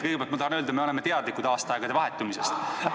Kõigepealt ma tahan öelda, et me oleme teadlikud aastaaegade vahetumisest.